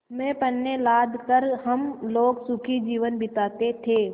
में पण्य लाद कर हम लोग सुखी जीवन बिताते थे